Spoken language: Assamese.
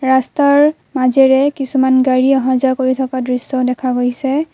ৰাস্তাৰ মাজেৰে কিছুমান গাড়ী অহাযোৱা কৰি থকা দৃশ্য দেখা গৈছে।